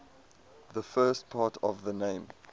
the first part of the name